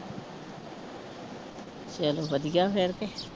ਚਲੋ ਵਧੀਆ ਫਿਰ ਤੇ।